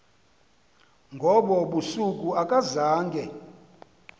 ngobo busuku akazange